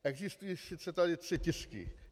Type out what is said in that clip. Existují tady tři tisky.